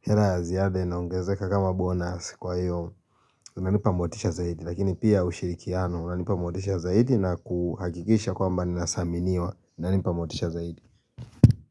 hela ya ziada inaongezeka kama bonus kwa hiyo inanipa motisha zaidi lakini pia ushirikiano inanipa motisha zaidi na kuhagikisha kwa mba ni nasaminiwa na nipa motisha zaidi.